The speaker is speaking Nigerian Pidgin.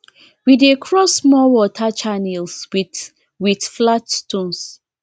we dey cross small water channels with with flat stones